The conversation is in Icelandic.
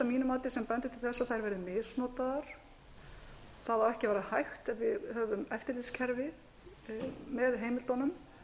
mínu mati sem bendir til þess að þær verði misnotaðar það á ekki að vera hægt af því að við höfum eftirlitskerfi með heimildunum